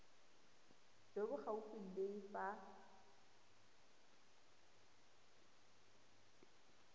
jo bo gaufi le fa